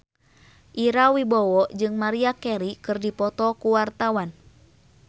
Ira Wibowo jeung Maria Carey keur dipoto ku wartawan